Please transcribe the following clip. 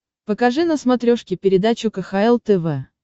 покажи на смотрешке передачу кхл тв